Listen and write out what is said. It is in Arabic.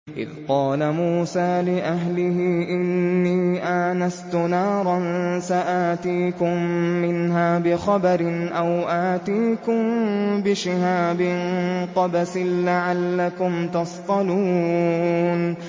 إِذْ قَالَ مُوسَىٰ لِأَهْلِهِ إِنِّي آنَسْتُ نَارًا سَآتِيكُم مِّنْهَا بِخَبَرٍ أَوْ آتِيكُم بِشِهَابٍ قَبَسٍ لَّعَلَّكُمْ تَصْطَلُونَ